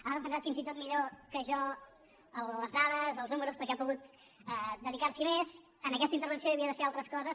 ha defensat fins i tot millor que jo les dades els números perquè ha pogut dedicars’hi més a aquesta intervenció i havia de fer altres coses